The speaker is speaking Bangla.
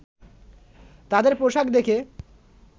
তাদের পোশাক দেখে